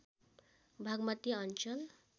बाग्मती अञ्चल